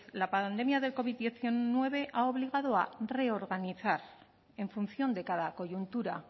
la pandemia del covid diecinueve ha obligado a reorganizar en función de cada coyuntura